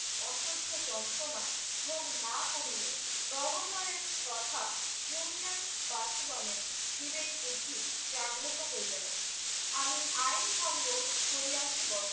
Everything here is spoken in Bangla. অসহ্য যন্ত্রণা ভোগ না করিলে গভর্নরের তথা ইউনিয়নবাসীগণের বিবেক বুদ্ধি জাগ্রত হইবে না। আমি আইন ভঙ্গ করিয়াছি বটে